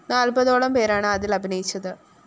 നാല്‍പതോളം പേരാണ് അതില്‍ അഭിനയിച്ചത്